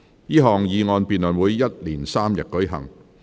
這項議案辯論會一連3天舉行。